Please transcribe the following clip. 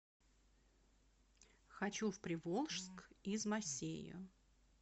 хочу в приволжск из масейо